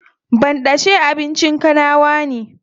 Banɗace abincin kanawa ne.